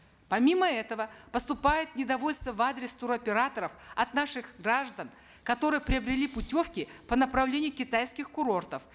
помимо этого поступает недовольство в адрес туроператоров от наших граждан которые приобрели путевки по направлению китайских курортов